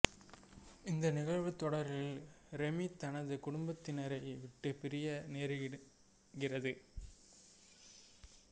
இந்த நிகழ்வுத் தொடரில் ரெமி தனது குடும்பத்தினரை விட்டுப் பிரிய நேரிடுகிறது